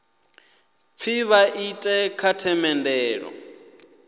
pfi vha ite kha themendelo